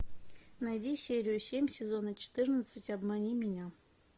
найди серию семь сезона четырнадцать обмани меня